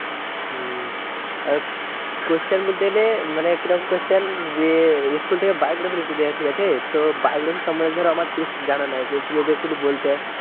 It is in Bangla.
উম Question বলতে গেলে মানে কি রকম question যে স্কুল থেকে biography লিখতে দেয়া হয়েছে ঠিক আছে, তো biography সম্বন্ধে ধরো আমার ঠিক জানা নাই যদি তুমি একটু যদি বলতে।